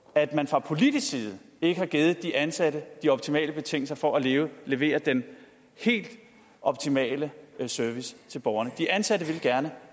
at man fra politisk side ikke har givet de ansatte de optimale betingelser for at levere levere den helt optimale service til borgerne de ansatte vil gerne